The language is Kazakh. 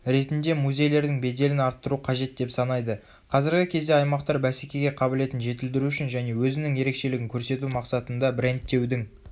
ретінде музейлердің беделін арттыру қажет деп санайды.қазіргі кезде аймақтар бәсекеге қабілетін жетілдіру үшін және өзінің ерекшелігін көрсету мақсатында брендтеудің